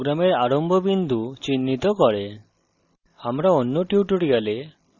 main function program আরম্ভ বিন্দু চিহ্নিত করে